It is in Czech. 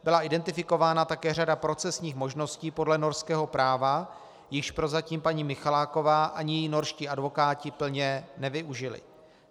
Byla identifikována také řada procesních možností podle norského práva, jichž prozatím paní Michaláková ani její norští advokáti plně nevyužili.